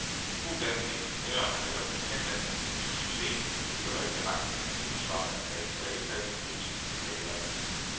To danske ingeniører har netop patentanmeldt et nyt system til miljørigtig rensning af skimmelsvampeangreb på alle faste bygningsmaterialer.